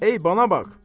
Ey, bana bax!